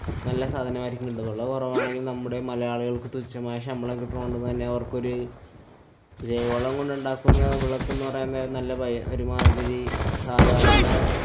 നല്ലസാധനമായിരിക്കും കിട്ടുക. വിലകുറവാണെങ്കില്‍ നമ്മുടെ മലയാളികള്‍ക്ക് തുച്ഛമായ ശമ്പളം കിട്ടുന്നത് കൊണ്ടുതന്നെ അവര്‍ക്കൊരു ജൈവവളം കൊണ്ടുണ്ടാക്കുന്ന വിളക്ക്ന്നു പറയാന്‍ നേരം നല്ല പൈ~ ഒരുമാതിരി സാധാരണ